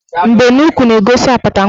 Mbenuukwu na-egosi apata nwaanyị.